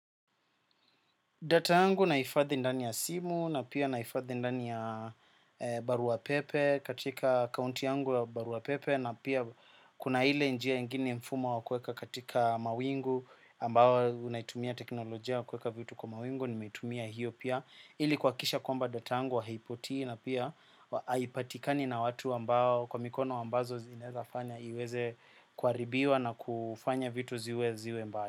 Data yangu naifadhi ndani ya simu na pia naifadhi ndani ya baruapepe katika akaunti yangu ya baruapepe na pia kuna hile njia ingine mfumo wa kweka katika mawingu ambawo unaitumia teknolojia wa kweka vitu kwa mawingu, nimeitumia hiyo pia. Hili kwakisha kwamba data yangu haipotii na pia haipatikani na watu ambao kwa mikono ambazo zinezafanya iweze kwaribiwa na kufanya vitu ziwe ziwe mbaya.